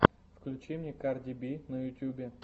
включи мне карди би на ютубе